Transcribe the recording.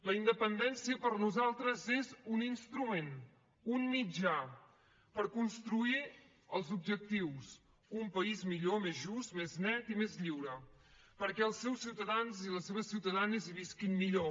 la independència per nosaltres és un instrument un mitjà per construir els objectius un país millor més just més net i més lliure perquè els seus ciutadans i les seves ciutadanes hi visquin millor